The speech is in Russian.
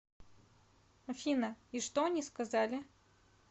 афина и что они сказали